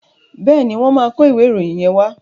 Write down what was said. Bẹ́ẹ̀ni, wọ́n máa ìwé ìròyìn yẹn wá.